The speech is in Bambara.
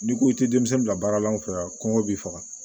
N'i ko i tɛ denmisɛnnin bila baara la an fɛ yan kɔngɔ b'i faga